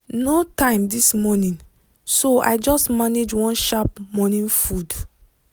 no time this morning so i just manage one sharp morning food.